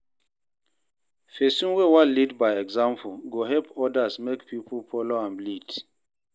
Pesin wey wan lead by example go help odas make pipo folo im lead.